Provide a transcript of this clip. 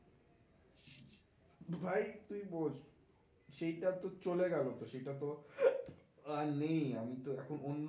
ভাই তুই বোঝ সেইটা তো চলে গেলো তো সেইটা তো আর নেই, আমি তো এখন অন্য